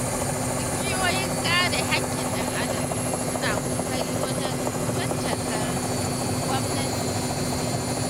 Ƙungiyoyin kare hakkin ɗan-adam suna ƙoƙari wajen caccakar gwamnati sosai.